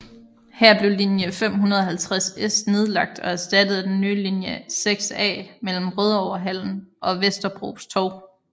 Her blev linje 550S nedlagt og erstattet af den nye linje 6A mellem Rødovrehallen og Vesterbros Torv